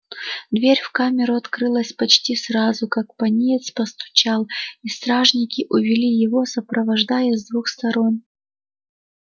дверь в камеру открылась почти сразу как пониетс постучал и стражники увели его сопровождая с двух сторон